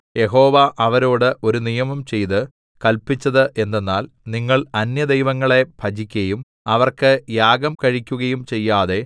യഹോവ അവരോട് ഒരു നിയമം ചെയ്ത് കല്പിച്ചത് എന്തെന്നാൽ നിങ്ങൾ അന്യദൈവങ്ങളെ ഭജിക്കയും അവക്ക് യാഗം കഴിക്കുകയും ചെയ്യാതെ